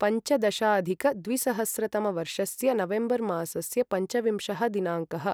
पञ्चदशाधिकद्विसहस्रतमवर्षस्य November मासस्य पञ्चविंशः दिनाङ्कः